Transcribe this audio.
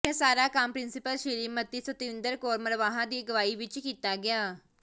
ਇਹ ਸਾਰਾ ਕੰਮ ਪ੍ਰਿੰਸੀਪਲ ਸ੍ਰੀ ਮਤੀ ਸਤਿੰਦਰ ਕੌਰ ਮਰਵਾਹਾ ਦੀ ਅਗਵਾਈ ਵਿਚ ਕੀਤਾ ਗਿਆ